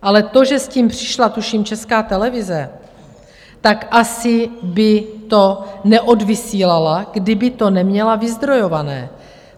Ale to, že s tím přišla, tuším, Česká televize, tak asi by to neodvysílala, kdyby to neměla vyzdrojované.